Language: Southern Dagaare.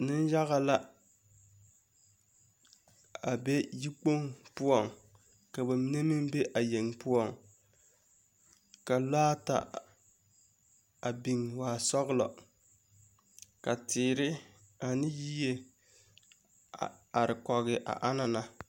Neŋyage la, a be yikpoŋ poͻŋ ka ba mine meŋ be a yeŋe poͻŋ. Ka lͻԑ ata, a biŋ waa sͻgelͻ, ka teere ane yie a biŋ kͻge a anaŋ na.